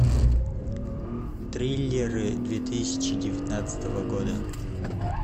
триллеры две тысячи девятнадцатого года